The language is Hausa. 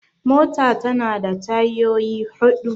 mota tana da tayyoyi hudu